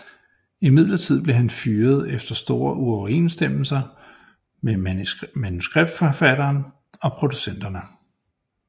Imidlertid blev han fyret efter store uoverensstemmelser med manuskriptforfatteren og producerne